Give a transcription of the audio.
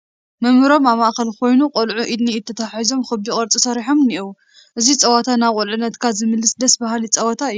መምህሮም ኣብ ማእኸል ኮይና ቆልዑ ኢድ ንኢድ ተተሓሒዞም ኽቢ ቅርፂ ሰሪሖም እኒዉ ፡፡ እዚ ፀወታ ናብ ቁልዕነትካ ዝመልስ ደስ በሃሊ ፀወታ እዩ፡፡